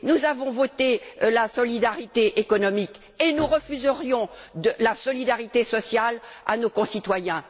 Nous avons voté la solidarité économique et nous refuserions la solidarité sociale à nos concitoyens?